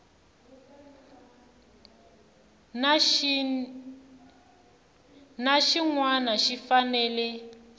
na xin wana xi fanele